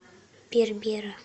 бербера